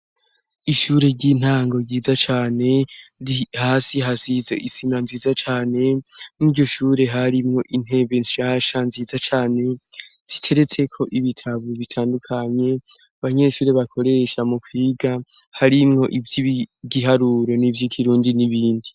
Ishure ry'intango ryiza cane hasi hasize isima nziza cane mwiryo shure harimwo intebe shasha nziza cane ziteretse ko ibitabo bitandukanye abanyeshuri bakoresha mu kwiga harimwo ivyigiharuro nivyi kirundi n'ibindi.